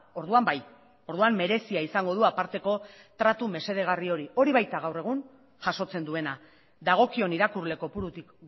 orduan bai orduan merezia izango du aparteko tratu mesedegarri hori hori baita gaur egun jasotzen duena dagokion irakurle kopurutik